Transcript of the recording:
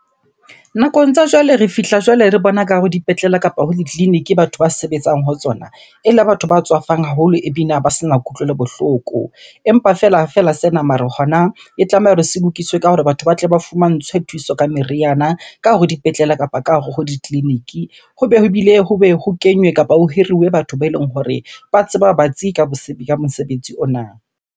Nakong tsa jwale re fihla jwale re bona ka hare dipetlele kapo ho ditleleniki batho ba sebetsang ho tsona, ele batho ba tswafang haholo ebina ba sena kutlwelo bohloko. Empa fela sena mare hona, e tlameha hore se lokiswe ka hore batho ba tle ba fumantshwe thuso ka meriana ka hare ho dipetlela kapa ka hare ho ditleleniki. Hobe ho bile, hobe ho kenywe kapa ho hiriwe batho beleng hore ba tseba batsi ka ka mosebetsi ona.